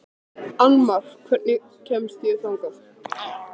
Annmar, hvernig kemst ég þangað?